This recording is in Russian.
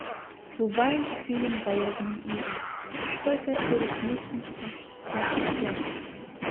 врубай фильм голодные игры сойка пересмешница часть первая